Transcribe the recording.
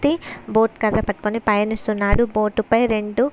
boat కర్ర పట్టుకుని పయనిస్తున్నారు బోటు పై రెండు --